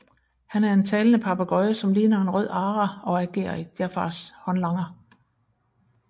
Han er en talende papegøje som ligner en Rød ara og agerer Jafars håndlanger